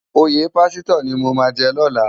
Óyé pásitò ni mó má jè lòlá